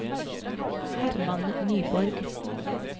Hermann Nyborg